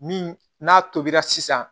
Min n'a tobira sisan